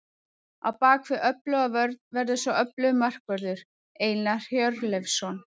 Á bakvið öfluga vörn verður svo öflugur markvörður, Einar Hjörleifsson.